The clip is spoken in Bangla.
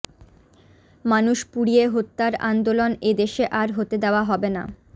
মানুষ পুড়িয়ে হত্যার আন্দোলন এ দেশে আর হতে দেয়া হবে না